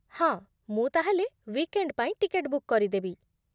ହଁ, ମୁଁ ତା'ହେଲେ ୱିକ୍ଏଣ୍ଡ୍ ପାଇଁ ଟିକେଟ ବୁକ୍ କରିଦେବି।